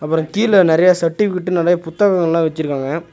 அப்புறோ கீழ நறையா சர்டிஃபிகேட் நறையா புத்தகங்கள்லா வெச்சுருக்காங்க.